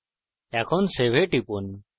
এখন save এ টিপুন